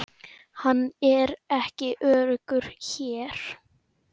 Hann er ekki öruggur hér